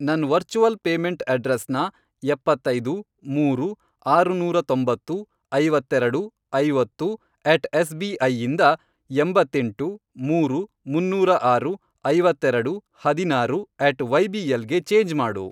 ನನ್ virtual payment ಅಡ್ರೆಸ್ನ, ಎಪ್ಪತ್ತೈದು, ಮೂರು, ಆರುನೂರ ತೊಂಬತ್ತು, ಐವತ್ತೆರೆಡು, ಐವತ್ತು ,ಅಟ್ ಎಸ್ ಬಿ ಐ ಇಂದ, ಎಂಬತ್ತೆಂಟು, ಮೂರು, ಮುನ್ನೂರ ಆರು, ಐವತ್ತೆರೆಡು, ಹದಿನಾರು, ಅಟ್ ವೈಬಿಎಲ್ ಗೆ ಚೇಂಜ್ ಮಾಡು.